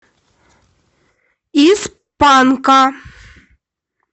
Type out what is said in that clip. из панка